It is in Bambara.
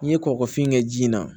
N'i ye kɔkɔfin kɛ ji la